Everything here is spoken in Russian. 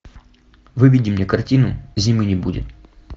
выведи мне картину зимы не будет